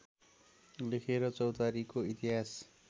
लेखेर चौतारीको इतिहास